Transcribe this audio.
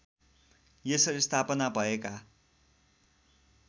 यसरी स्थापना भएका